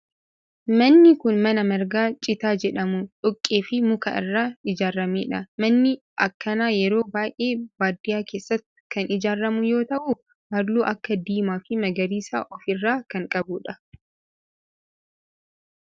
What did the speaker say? Manni kun mana marga citaa jedhamu, dhoqqee fi muka irraa ijaaramedha. Manni akkanaa yeroo baayyee baadiyaa keessatti kan ijaaramu yoo ta'u halluu akka diimaa fi magariisa of irraa kan qabudha?